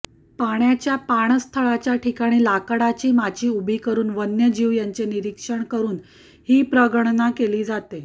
पाण्याच्या पाणस्थळाच्या ठिकाणी लाकडाची माची उभी करून वन्यजीव यांचे निरीक्षण करून हि प्रगणना केली जाते